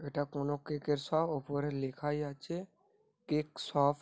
এটা কোনো কেক -এর শপ । ওপরে লেখাই আছে কেক শপ ।